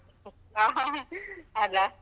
ಆ ಹ ಹ, ಅಲ?